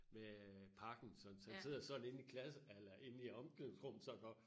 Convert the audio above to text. Med parkinsons han sidder sådan inde i klasse eller omklædningsrummet sådan og